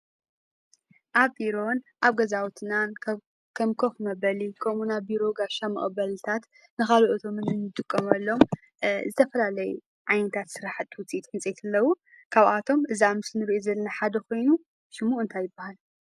አብ ቢሮን አብ ገዛውትናን ከም ከፍ መበሊ ከምኡውን ቢሮ ንጋሽ መቀበሊ ንካልአት እንጥቀመሉ ዝተፈላለዩ ዓይንታት ስራሕቲ ውፅኢት ዕንፀይቲ አለው:: ካብአቶም እቲ አብ ምስሊ እንሪኦ ዘለና ሓደ ኮይኑ ሽሙ እንታይ ይባሃል?